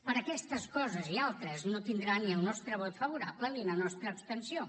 per aquestes coses i altres no tindrà ni el nostre vot favorable ni la nostra abstenció